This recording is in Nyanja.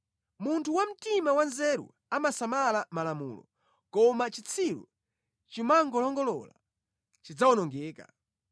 Munthu wa mtima wanzeru amasamala malamulo, koma chitsiru chomangolongolola chidzawonongeka.